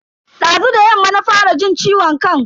Dazu da yamma na fara jin ciwon kan.